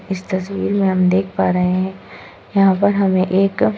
इस तस्वीर में हम देख पा रहे हैं यहाँ पर हमें एक --